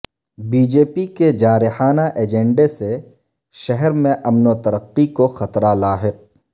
B J پی کے جارحانہ agenda سے شہر میں امن و ترقی کو خطرہ لاحق